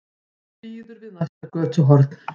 Hann bíður við næsta götuhorn.